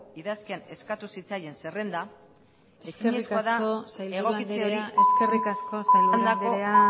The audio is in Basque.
idazkian eskatu zitzaien zerrenda eskerrik asko salburu anderea